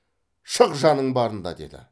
шық жаның барында деді